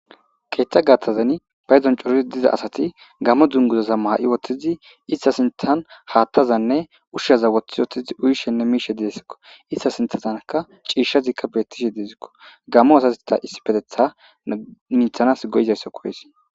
keeththa gatazan bayedon corizi diza asati gamo dunguzaza maa7i woththizi ista sintan haattazanne ushshaza woththi woththizi uyishenne miishe deesikko ista sinthazanaka ciishshazikka beettishe deezikko gamo asazita issi petetha minthanas go7izayssa koys.